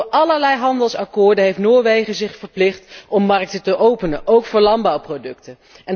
Want door allerlei handelsakkoorden heeft Noorwegen zich verplicht om markten te openen, ook voor landbouwproducten.